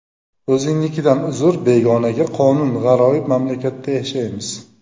O‘zingnikidan uzr, begonaga qonun G‘aroyib mamlakatda yashaymiz.